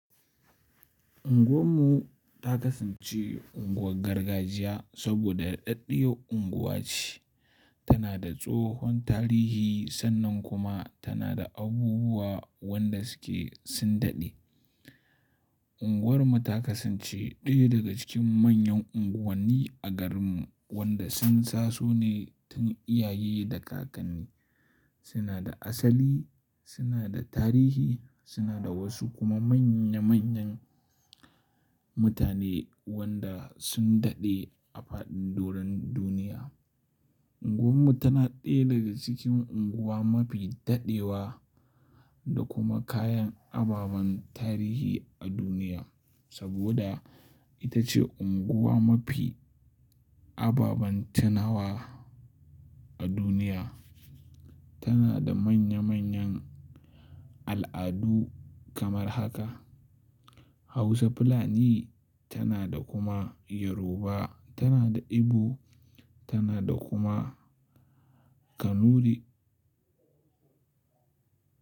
Unguwar mu ta kasance unguwar gargajiya saboda daɗaɗɗiyar unguwa ce. Tana da tsohon tarihi sannan kuma tana da abubuwa wanda suke sun daɗe. Unguwar mu ta kasance ɗaya daga cikin manyan unguwanni a garin mu wanda sun tasone tun iyaye da kakanni. Suna da asali, suna da tarihi, suna da wasu kuma manya manyan mutane wanda sun daɗe a faɗin doron duniya. Unguwar mu tana ɗaya daga cikin unguwa mafi daɗewa da kuma kayan ababen tarihi a duniya saboda ita ce unguwa mafi ababen tunawa a duniya. Tana da manya manyan al'adu kamar haka Hausa fulani tana da kuma Yoruba, tana da Igbo tana da kuma Kanuri.